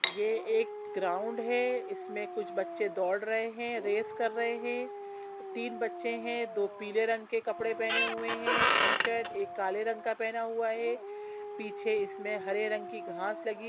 ये एक ग्राउंड है इसमे कुछ बच्चे दौड रहे हैंरेस कर रहे हैं बच्चे तीन है दो नहीं पीले रंग के कपड़े पहने हुए हैंटी शर्ट एक काले रंग का पहना हुआ है पीछे इसमे हरे रंग की घाँस लगी--